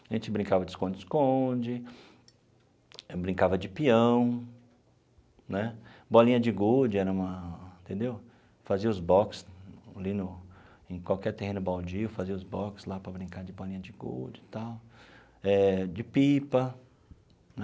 A gente brincava de esconde-esconde, brincava de peão né, bolinha de gude era uma entendeu, fazia os box ali no em qualquer terreno baldio, fazia os box lá para brincar de bolinha de gude e tal, eh de pipa.